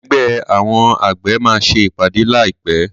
Ẹgbẹ́ àwọn àgbẹ̀ máa ṣe ìpàdé láì pé.